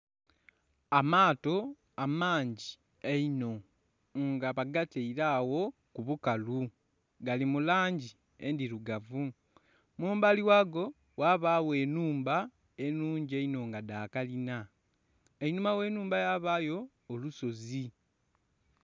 Amaato amangi einho nga bagataire agho kubukalu gali mu langi endhirugavu mumbali ghago ghabagho ennhumba enhungi einho nga dha kalina, einhuma ghenhumba yabayo olusozi.